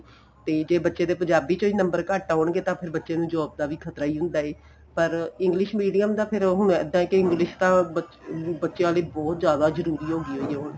ਤੇ ਜੇ ਬੱਚੇ ਦੇ ਪੰਜਾਬੀ ਚੋ ਈ number ਈ ਘੱਟ ਤੇ ਫੇਰ ਬੱਚੇ ਨੂੰ job ਦਾ ਵੀ ਖਤਰਾ ਈ ਹੁੰਦਾ ਏ ਪਰ English medium ਦਾ ਫੇਰ ਹੁਣ ਇੱਦਾਂ ਕੀ English ਤਾਂ ਬੱਚਿਆਂ ਲਈ ਬਹੁਤ ਜਿਆਦਾ ਜਰੂਰੀ ਹੋਗੀ ਹੈਗੀ ਹੈ ਹੁਣ